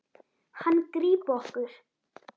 Hann grípa okkur.